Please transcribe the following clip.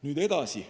Nüüd edasi.